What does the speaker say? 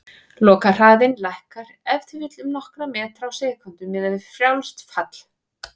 Lokahraðinn lækkar ef til vill um nokkra metra á sekúndu, miðað við frjálst fall.